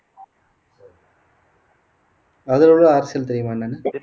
அதிலுள்ள தெரியுமா என்னன்னு